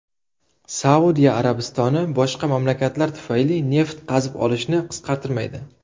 Saudiya Arabistoni boshqa mamlakatlar tufayli neft qazib olishni qisqartirmaydi.